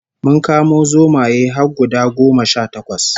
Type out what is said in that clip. Mun kamo zomaye har guda goma sha takwas